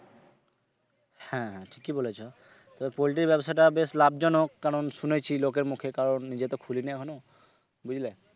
হ্যাঁ ঠিকই বলেছো তো poultry ব্যবসাটা বেশ লাভজনক কারন শুনেছি লোকের মুখে কারন নিজে তো খুলিনি এখনো বুঝলে?